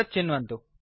तत् चिन्वन्तु